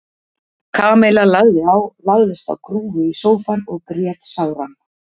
Kamilla lagði á, lagðist á grúfu í sófann og grét sáran.